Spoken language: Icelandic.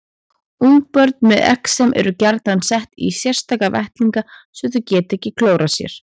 Ungbörn með exem eru gjarnan sett í sérstaka vettlinga svo þau geti ekki klórað sér.